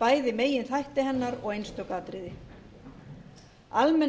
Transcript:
bæði meginþætti hennar og einstök atriði almenn